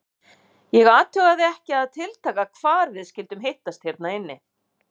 Ég athugaði ekki að tiltaka hvar við skyldum hittast hérna inni.